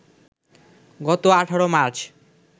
গত ১৮ মার্চ